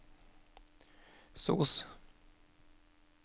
sos